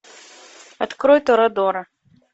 открой торадора